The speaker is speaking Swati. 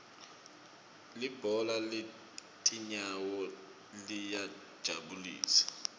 libhola letinyawo liyajabulisa